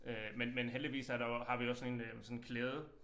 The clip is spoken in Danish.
Øh men men heldigvis er der jo også har vi jo også sådan en øh sådan en klæde